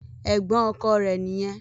Ẹ̀gbọ́n ọkọ rẹ̀ nìyẹn.